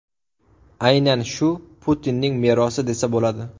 Aynan shu Putinning merosi desa bo‘ladi.